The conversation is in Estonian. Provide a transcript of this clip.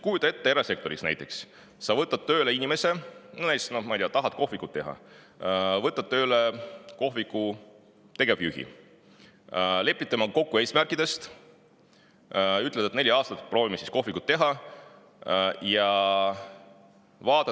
Kujuta ette, et sa erasektoris võtad tööle inimese, näiteks tahad kohvikut, võtad tööle tegevjuhi, lepid temaga kokku eesmärkides ja ütled talle, et proovime neli aastat kohvikut.